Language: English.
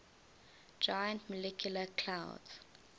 giant molecular clouds